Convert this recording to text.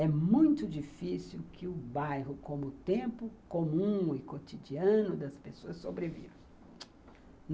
É muito difícil que o bairro, como tempo comum e cotidiano das pessoas, sobreviva.